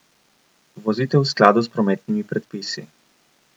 Vozite v skladu s prometnimi predpisi.